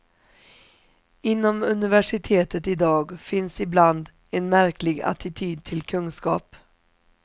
Inom universitetet i dag finns ibland en märklig attityd till kunskap.